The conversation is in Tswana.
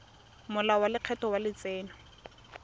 molao wa lekgetho wa letseno